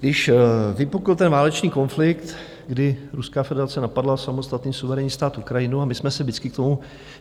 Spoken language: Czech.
Když vypukl ten válečný konflikt, kdy Ruská federace napadla samostatný suverénní stát Ukrajinu a my jsme se vždycky k tomu...